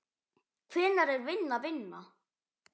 Hvenær er vinna vinna?